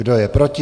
Kdo je proti?